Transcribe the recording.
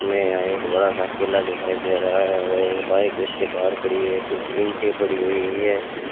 हमें यहां एक बड़ा सा किला दिखाई दे रहा है और एक बाइक उसके बाहर खड़ी है कुछ ईंटे पड़ी हुई है।